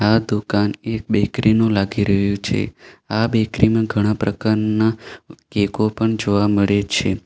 આ દુકાન એક બેકરી નું લાગી રહ્યું છે આ બેકરી માં ઘણા પ્રકારના કેકો પણ જોવા મળે છે.